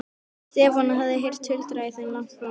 Stefán hafði heyrt tuldrið í þeim langt fram eftir nóttu.